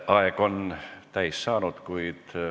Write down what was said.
Aeg on täis saanud.